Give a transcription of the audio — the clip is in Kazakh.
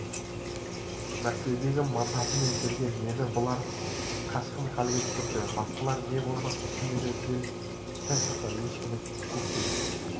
мәскеудің мандатымен келген мені бұлар қашқын халге түсірді басқалар не болмақ түйені жел шайқаса ешкіні көктен